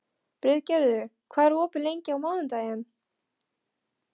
Friðgerður, hvað er opið lengi á mánudaginn?